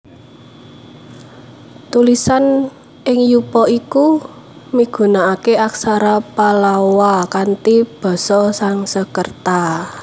Tulisan ing yupa iku migunakaké Aksara Pallawa kanthi basa Sansekerta